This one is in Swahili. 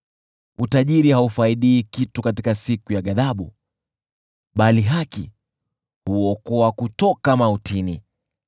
Utajiri haufaidi kitu katika siku ya ghadhabu, bali haki huokoa kutoka mautini.